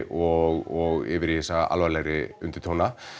og yfir í þessa alvarlegri undirtóna